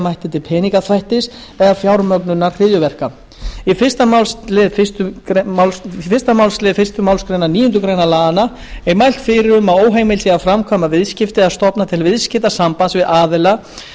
mætti til peningaþvættis eða fjármögnunar hryðjuverka í fyrsta málsl fyrstu málsgrein níundu grein laganna er mælt fyrir um að óheimilt sé að framkvæma viðskipti eða stofna til viðskiptasambands við aðila